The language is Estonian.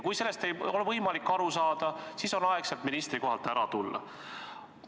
Kui sellest ei ole võimalik aru saada, siis on aeg ministrikohalt ära tulla.